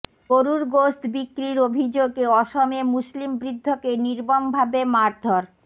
গরুর গোশত বিক্রির অভিযোগে অসমে মুসলিম বৃদ্ধকে নির্মমভাবে মারধর